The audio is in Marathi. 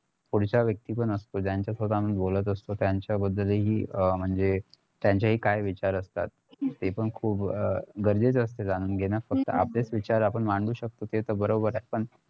पुढचा व्यक्तीपण असतो ज्याच्या सोबत आपण बोलत असतो त्यांच्याबद्दलहि अं म्हणजे त्यांचेही काय विचार असतात ते पण खुप गरजेचं असतं जाणून घेणं फक्त आपलेच विचार आपण मांडू शकतो ते तर बरोबर हाय